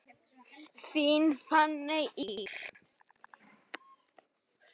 Þín Fanney Ýr.